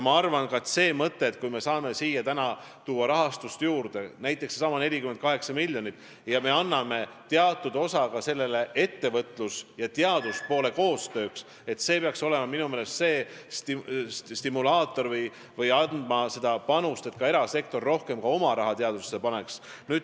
Ma arvan, et see mõte, kui me saame siia tuua rahastust juurde, näiteks seesama 48 miljonit, ja anname teatud osa sellest ettevõtluse ja teaduse koostööks, siis see peaks olema minu meelest stimulaator või soodustama seda, et ka erasektor rohkem oma raha teadusesse paneks.